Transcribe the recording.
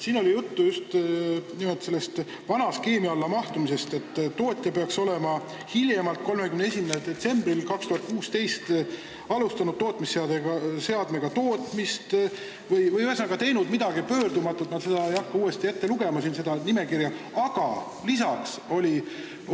Siin oli juttu vana skeemi alla mahtumisest: et tootja peaks olema hiljemalt 31. detsembril 2016 alustanud tootmisseadmega tootmist või vähemalt teinud midagi pöördumatut – ma ei hakka seda nimekirja uuesti ette lugema.